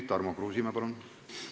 Tarmo Kruusimäe, palun!